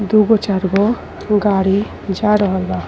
दुगो चारगो गाड़ी जा रहल बा।